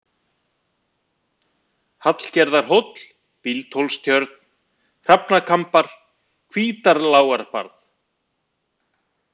Hallgerðarhóll, Bíldhólstjörn, Hrafnakambar, Hvítarlágarbarð